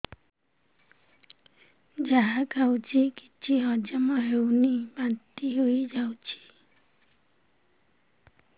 ଯାହା ଖାଉଛି କିଛି ହଜମ ହେଉନି ବାନ୍ତି ହୋଇଯାଉଛି